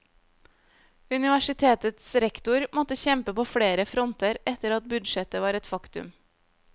Universitetets rektor måtte kjempe på flere fronter etter at budsjettet var et faktum.